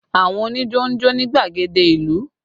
Àwọn onijo ń jó ní gbàgede ìlú